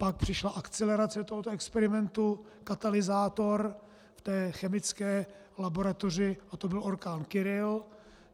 Pak přišla akcelerace tohoto experimentu, katalyzátor v té chemické laboratoři, a to byl orkán Kyrill.